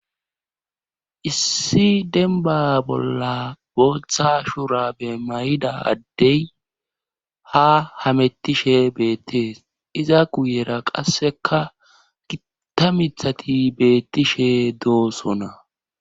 Issi denba bolla booththa shura be may7ida addey ha hamettishe beettees iza guyera qasseka gitta mithati beettishe doosona.